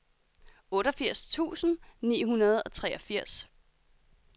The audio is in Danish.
otteogfirs tusind ni hundrede og treogfirs